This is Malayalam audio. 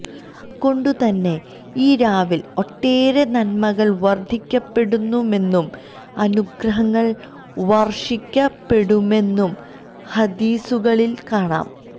അതുകൊണ്ടു തന്നെ ഈ രാവില് ഒട്ടേറെ നന്മകള് വര്ധിക്കപ്പെടുമെന്നും അനുഗ്രഹങ്ങള് വര്ഷിക്കപ്പെടുമെന്നും ഹദീസുകളില് കാണാം